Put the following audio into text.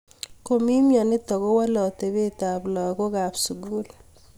Komii mnyonitok kowolee atepeet ap lagok AP sugul